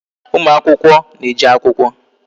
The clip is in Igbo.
Ụmụ akwụkwọ na-eje akwụkwọ